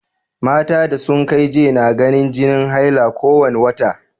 Mata da sun kai j na ganin jini haila ko wane wata.